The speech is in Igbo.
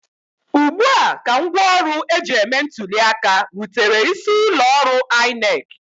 Ugbua ka ngwaọrụ eji eme ntụli aka rutere isi ụlọ ọrụ INEC